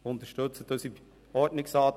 Unterstützen Sie unseren Ordnungsantrag.